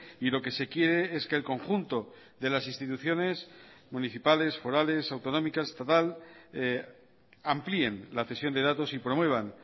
y lo que se quiere es que el conjunto de las instituciones municipales forales autonómicas estatal amplíen la cesión de datos y promuevan